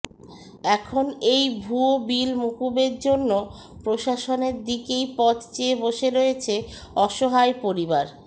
এখন এই ভুয়ো বিল মকুবের জন্য প্রশাসনের দিকেই পথ চেয়ে বসে রয়েছে অসহায় পরিবার